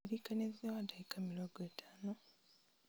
ndirikania thutha wa ndagĩka mĩrongo ĩtano